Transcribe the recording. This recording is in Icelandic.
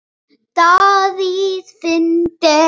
Davíð Fínt er.